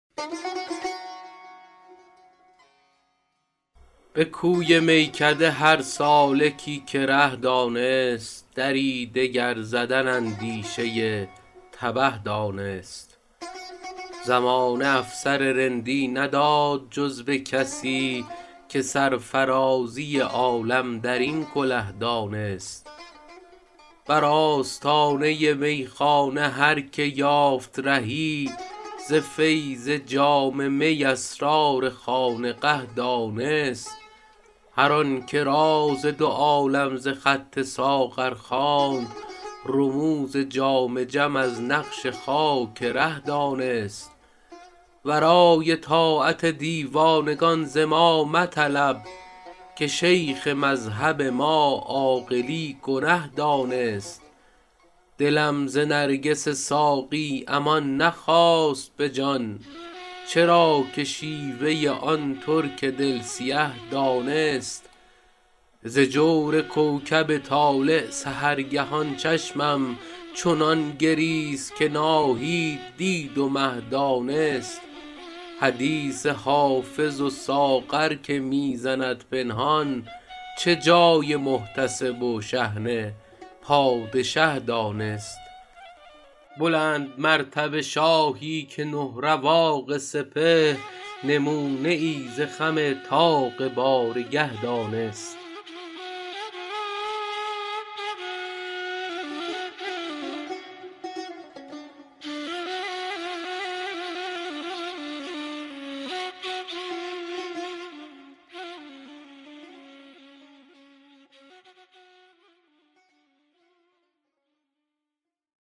به کوی میکده هر سالکی که ره دانست دری دگر زدن اندیشه تبه دانست زمانه افسر رندی نداد جز به کسی که سرفرازی عالم در این کله دانست بر آستانه میخانه هر که یافت رهی ز فیض جام می اسرار خانقه دانست هر آن که راز دو عالم ز خط ساغر خواند رموز جام جم از نقش خاک ره دانست ورای طاعت دیوانگان ز ما مطلب که شیخ مذهب ما عاقلی گنه دانست دلم ز نرگس ساقی امان نخواست به جان چرا که شیوه آن ترک دل سیه دانست ز جور کوکب طالع سحرگهان چشمم چنان گریست که ناهید دید و مه دانست حدیث حافظ و ساغر که می زند پنهان چه جای محتسب و شحنه پادشه دانست بلندمرتبه شاهی که نه رواق سپهر نمونه ای ز خم طاق بارگه دانست